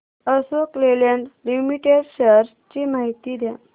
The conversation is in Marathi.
अशोक लेलँड लिमिटेड शेअर्स ची माहिती द्या